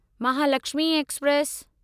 Mahalakshmi express